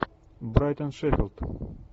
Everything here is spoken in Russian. брайтон шеффилд